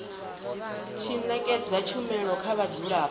tshi ṅetshedza tshumelo kha vhadzulapo